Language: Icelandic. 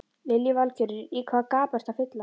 Lillý Valgerður: Í hvaða gap ertu að fylla?